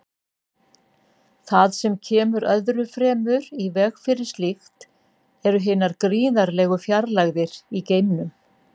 Það sem kemur öðru fremur í veg fyrir slíkt eru hinar gríðarlegu fjarlægðir í geimnum.